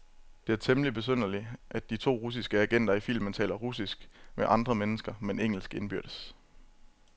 Det er temmeligt besynderligt, at de to russiske agenter i filmen taler russisk med andre mennesker, men engelsk indbyrdes.